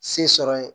Se sɔrɔ ye